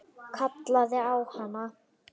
Kallaði á hana.